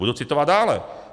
Budu citovat dále.